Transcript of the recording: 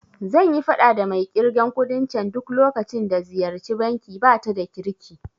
Zanyi faɗa da mai ƙirgen kuɗin can duk lokacin da ziyarci banki, bata da kirki